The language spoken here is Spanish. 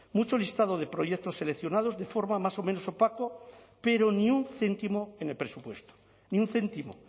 mucho listado de proyectos seleccionados de forma más o menos opaco pero ni un céntimo en el presupuesto ni un céntimo